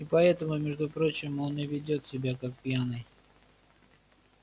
и поэтому между прочим он и ведёт себя как пьяный